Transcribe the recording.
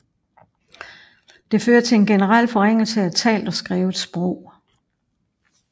Det fører til en generel forringelse af talt og skrevet sprog